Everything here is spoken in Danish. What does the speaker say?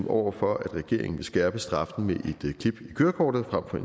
over for at regeringen vil skærpe straffen med et klip i kørekortet frem for